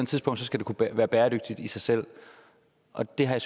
tidspunkt skal det være bæredygtigt i sig selv og det har jeg